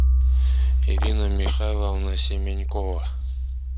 ирина михайловна семенькова